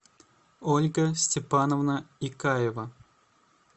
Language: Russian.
ольга степановна икаева